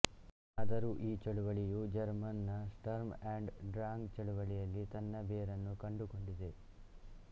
ಆದರೂ ಈ ಚಳವಳಿಯು ಜರ್ಮನ್ ನ ಸ್ಟರ್ಮ್ ಅಂಡ್ ಡ್ರಾಂಗ್ ಚಳವಳಿಯಲ್ಲಿ ತನ್ನ ಬೇರನ್ನು ಕಂಡುಕೊಂಡಿದೆ